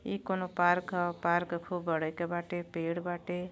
ई कउनो पार्क ह पार्क खूब बड़े के बाटे पेड़ बाटे।